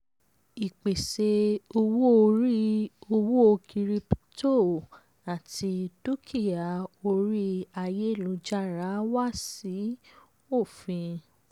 ìpèsè owó orí owó kíríptò kíríptò àti dúkìá orí ayélujára wá sí òfin.